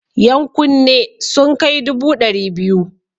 Yan kunne sun kai dubu ɗari biyu.